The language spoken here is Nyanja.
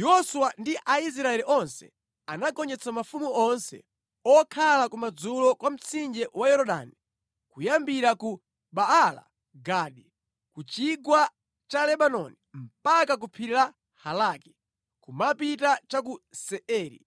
Yoswa ndi Aisraeli onse anagonjetsa mafumu onse okhala kumadzulo kwa mtsinje wa Yorodani kuyambira ku Baala-Gadi, ku chigwa cha Lebanoni mpaka ku phiri la Halaki, kumapita cha ku Seiri.